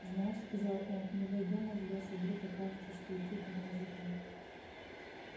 знаешь сказал он ну войдём мы в лес и вдруг окажется что идти-то не за кем